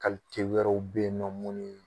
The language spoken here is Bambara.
Kalite wɛrɛw bɛ yen nɔ mun ye